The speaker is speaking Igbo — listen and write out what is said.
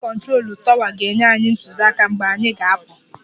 Ndị kụntrolu tọwa ga-enye anyị ntụziaka mgbe anyị ga-apụ.